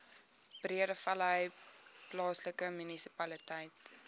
breedevallei plaaslike munisipaliteit